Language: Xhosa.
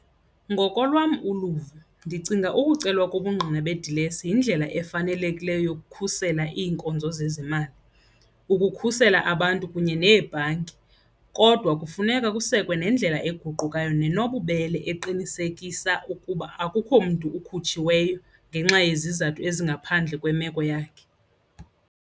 Ngokolwam uluvo ndicinga ukucela kobungqina bedilesi yindlela efanelekileyo yokukhusela iinkonzo zezimali, ukukhusela abantu kunye neebhanki. Kodwa kufuneka kusekwe nendlela eguqukayo nenobubele eqinisekisa ukuba akukho mntu ikhutshiweyo ngenxa yezizathu ezingaphandle kwemeko yakhe.